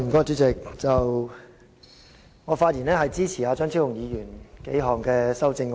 主席，我發言支持張超雄議員提出的多項修正案。